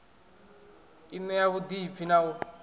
i ṋea vhuḓipfi na u